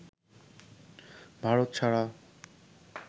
ভারত ছাড়া